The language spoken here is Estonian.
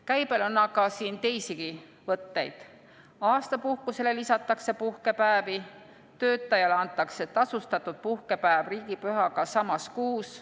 Käibel on aga teisigi võtteid, näiteks aastapuhkusele lisatakse puhkepäevi, töötajale antakse tasustatud puhkepäev riigipühaga samas kuus.